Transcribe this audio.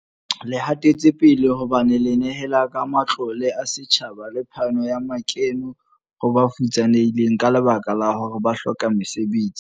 Le hatetsepele, hobane le nehela ka matlole a setjhaba le phano ya makeno ho ba futsanehileng ka lebaka la hore ba hloka mesebetsi.